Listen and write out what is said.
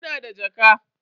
Ina da jaka.